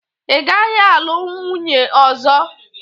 Ị gaghị alụ nwunye ọzọ!